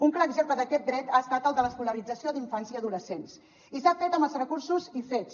un clar exemple d’aquest dret ha estat el de l’escolarització d’infants i adolescents i s’ha fet amb els recursos i fets